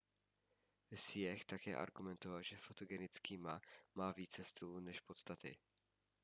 hsieh také argumentoval že fotogenický ma má více stylu než podstaty